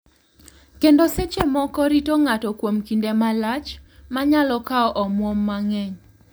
Kendo seche moko rito ng’ato kuom kinde malach, ma nyalo kawo omwom mang’eny.